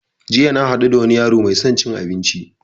Jiya na haɗu da wani yaro mai son cin abinci